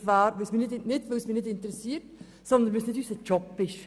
Dies nicht, weil es mich nicht interessieren würde, sondern weil es nicht unser Job ist.